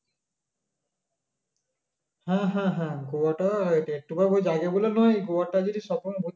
হ্যা হ্যা হ্যা গোয়াটা একটু জায়গা গুলো নয় গোয়াটা যদি